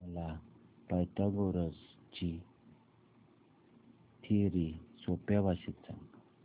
मला पायथागोरस ची थिअरी सोप्या भाषेत सांग